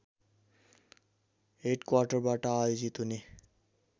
हेडक्वाटरबाट आयोजित हुने